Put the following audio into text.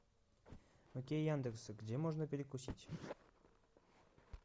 окей яндекс где можно перекусить